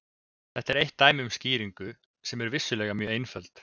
Þetta er eitt dæmi um skýringu, sem er vissulega mjög einföld.